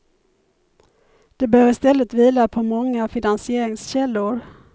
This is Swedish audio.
Den bör istället vila på många finansieringskällor.